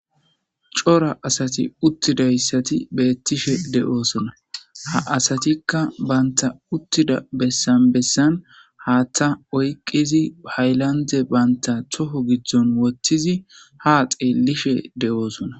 Cora asati uttidayssati beettishe de7oosona. Ha asatikka bantta uttida bessan bessan haaththa oyqqizi hayllande banta toho giddon wottizi haa xeelishe de7oosona.